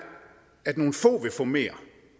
at nogle få vil få mere